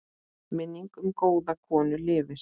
Minning um góða konu lifir.